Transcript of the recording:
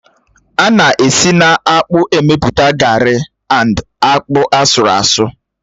Á na esi na-akpụ emepụta garri and akpụ asurụ asu